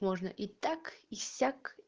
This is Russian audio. можно и так и сяк